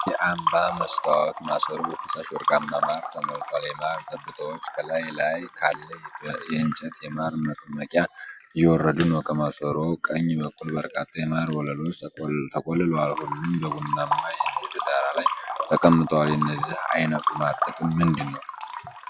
የአምባ መስታወት ማሰሮ በፈሳሽ ወርቃማ ማር ተሞልቷል፣ የማር ጠብታዎች ከላዩ ላይ ካለ የእንጨት የማር መጥመቂያ እየወረዱ ነው። ከማሰሮው ቀኝ በኩል በርካታ የማር ወለሎች ተቆልለዋል፤ ሁሉም በቡናማ የእንጨት ዳራ ላይ ተቀምጠዋል፣ የዚህ ዓይነቱ ማር ጥቅም ምንድነው?